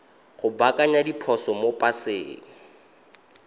go baakanya diphoso mo paseng